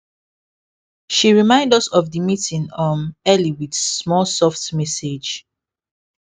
she remind us of the meeting um early with small soft message